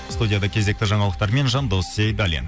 студияда кезекті жаңалықтармен жандос сейдаллин